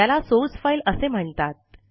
याला source file असे म्हणतात